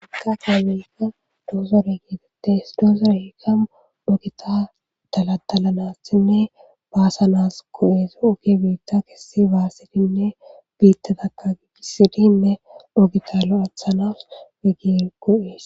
ha kakaamilika doozore geetettes doozore hiikamu ogita dalatalanassinne baasanas ko7es oki biitta kessi baassidinne biittataka gigisidinne ogita loathanas weggir go'es